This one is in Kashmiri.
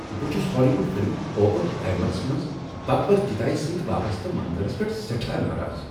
بہٕ چھس ہالی ووڈ فلم "اوپن ہائیمر"س منٛز بھگود گیتایہ سٕتۍ وابسطہٕ منظرس پیٹھ سیٹھاہ ناراض۔